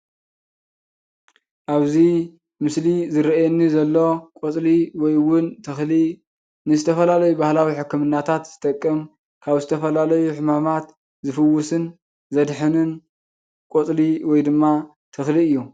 ኣብዚይ ምስሊ ዝርኣየኒ ዘሎ ቆፅሊ ወይ እውን ተክሊ ንዝተፈላለዩ ባህላዊ ሕክምናታት ዝጠቅም ካብ ዝተፈላለዩ ሕማማት ዝፍውስን ዘድሕንን ቆፅሊ ወይ ድማ ተክሊ እዩ።